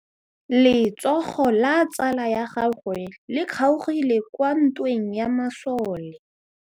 Letsôgô la tsala ya gagwe le kgaogile kwa ntweng ya masole.